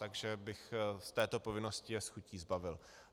Takže bych je této povinnosti s chutí zbavil.